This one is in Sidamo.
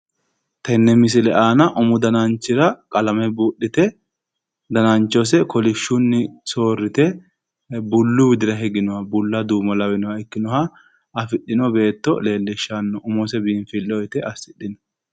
Tenne misile aana umu dananchira qalame buudhite dananchose kolishshunni soorrite bullu widira higinoha bulla duumo lawinoha ikkinoha afidhino beetto leellishshanno umose biinfilleho yite assidhe